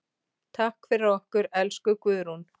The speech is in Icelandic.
Takk fyrir okkur, elsku Guðrún.